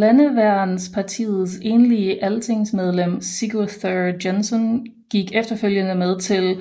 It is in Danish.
Landeværnspartiets enlige altingsmedlem Sigurður Jensson gik efterfølgende med til